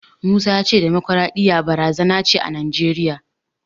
Musa ya ce demokwaraɗiyya barazana ce a Najeriya.